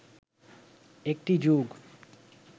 একটি যুগ